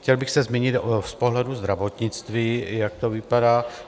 Chtěl bych se zmínit z pohledu zdravotnictví, jak to vypadá.